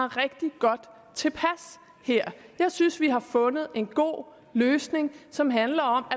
rigtig godt tilpas her jeg synes vi har fundet en god løsning som handler om